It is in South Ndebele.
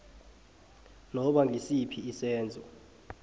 noba ngisiphi isenzo